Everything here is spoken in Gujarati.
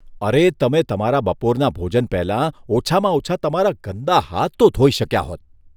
અરે, તમે તમારા બપોરના ભોજન પહેલાં ઓછામાં ઓછા તમારા ગંદા હાથ તો ધોઈ શક્યા હોત.